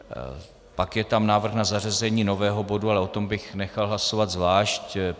Pak je tam návrh na zařazení nového bodu, ale o tom bych nechal hlasovat zvlášť.